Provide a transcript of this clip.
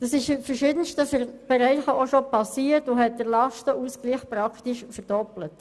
Das ist in verschiedensten Bereichen auch schon geschehen und hat den Lastenausgleich praktisch verdoppelt.